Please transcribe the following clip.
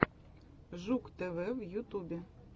жук тв в ютубе